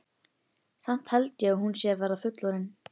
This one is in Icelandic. Samt held ég að hún sé að verða fullorðin.